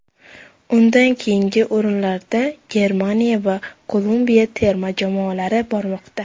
Undan keyingi o‘rinlarda Germaniya va Kolumbiya terma jamoalari bormoqda.